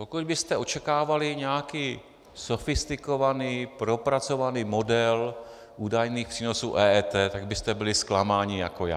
Pokud byste očekávali nějaký sofistikovaný, propracovaný model údajných přínosů EET, tak byste byli zklamáni jako já.